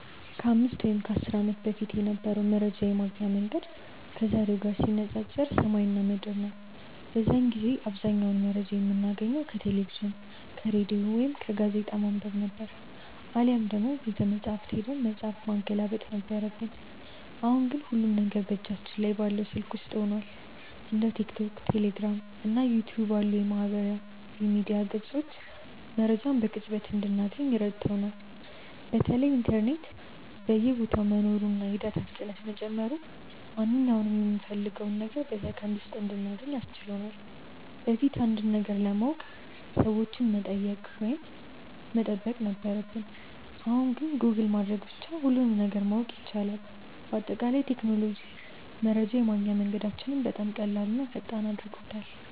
ከ5 ወይም ከ10 ዓመት በፊት የነበረው መረጃ የማግኛ መንገድ ከዛሬው ጋር ሲነፃፀር ሰማይና ምድር ነው። በዚያን ጊዜ አብዛኛውን መረጃ የምናገኘው ከቴሌቪዥን፣ ከሬዲዮ ወይም ጋዜጣ በማንበብ ነበር፤ አሊያም ደግሞ ቤተመጻሕፍት ሄደን መጽሐፍ ማገላበጥ ነበረብን። አሁን ግን ሁሉም ነገር በእጃችን ላይ ባለው ስልክ ውስጥ ሆኗል። እንደ ቲክቶክ፣ ቴሌግራም እና ዩቲዩብ ያሉ የማህበራዊ ሚዲያ ገጾች መረጃን በቅጽበት እንድናገኝ ረድተውናል። በተለይ ኢንተርኔት በየቦታው መኖሩና የዳታ ፍጥነት መጨመሩ ማንኛውንም የምንፈልገውን ነገር በሰከንድ ውስጥ እንድናገኝ አስችሎናል። በፊት አንድን ነገር ለማወቅ ሰዎችን መጠየቅ ወይም መጠበቅ ነበረብን፣ አሁን ግን ጎግል በማድረግ ብቻ ሁሉንም ነገር ማወቅ ይቻላል። በአጠቃላይ ቴክኖሎጂ መረጃን የማግኛ መንገዳችንን በጣም ቀላልና ፈጣን አድርጎታል።